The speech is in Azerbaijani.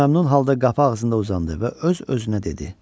O məmnun halda qapı ağzında uzandı və öz-özünə dedi: